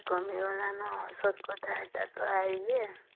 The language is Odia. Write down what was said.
କାମ ଗଲାନା ସତ କଥା ତ ଏଇଟା